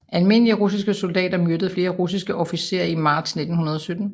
Almindelige russiske soldater myrdede flere russiske officerer i marts 1917